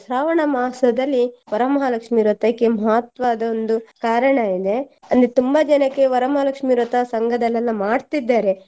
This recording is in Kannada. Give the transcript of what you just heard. ಶ್ರಾವಣ ಮಾಸದಲ್ಲಿ ವರಮಹಾಲಕ್ಷ್ಮಿ ವ್ರತಕ್ಕೆ ಮಹತ್ವದ ಒಂದು ಕಾರಣ ಇದೆ ಅಲ್ಲಿ ತುಂಬಾ ಜನಕ್ಕೆ ವರಮಹಾಲಕ್ಷ್ಮಿ ವ್ರತ ಸಂಘದಲ್ಲೆಲ್ಲ ಮಾಡ್ತಿದ್ದಾರೆ.